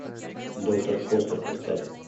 доктор фостер поставь